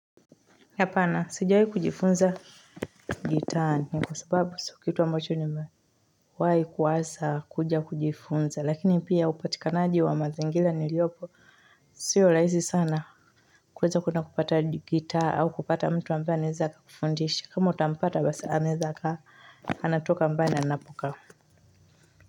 Hapana, sijaanza kujifunza gitaa kwa sababu si kitu ambacho nimewahi kuanza kujifunza, lakini pia upatikanaji wa mazingira niliopo. Siyo rahisi sana kuweza kupata gitaa au kupata mtu ambaye anaweza kufundisha, kama utampata basi anaweza. Anatoka mbali na ninapokaa.